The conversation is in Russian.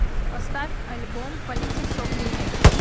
поставь альбом политикс оф ливинг